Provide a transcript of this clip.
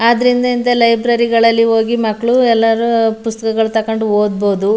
ಅದ್ರಿಂದ ಇಂಥ ಲೈಬ್ರೆರಿ ಗಳಲ್ಲಿ ಹೋಗಿ ಮಕ್ಕಳು ಎಲ್ಲರೂ ಪುಸ್ತಾಕಗಳು ತಕಂಡ್ ಓದ್ಬಹುದು --